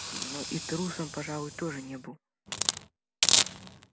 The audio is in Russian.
но и трусом пожалуй тоже не был